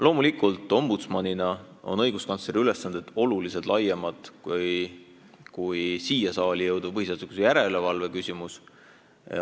Loomulikult ombudsmanina on õiguskantsleri ülesanded oluliselt laiemad kui siia saali jõudvad põhiseaduslikkuse järelevalve küsimused.